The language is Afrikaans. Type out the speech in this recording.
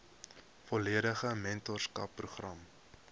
volledige mentorskap program